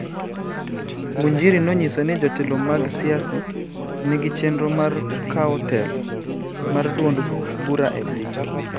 Ngunjiri nonyiso ni jotelo mag siasa nigi chenro mar kawo telo mar duond bura e piny.